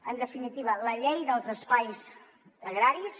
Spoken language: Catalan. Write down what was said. en definitiva la llei dels espais agraris